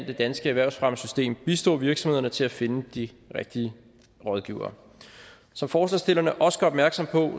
det danske erhvervsfremmesystem bistå virksomhederne til at finde de rigtige rådgivere som forslagsstillerne også gør opmærksom på